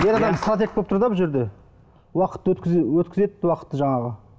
ер адам стратег болып тұр да бұл жерде уақыт өткіз өткізеді уақытты жаңағы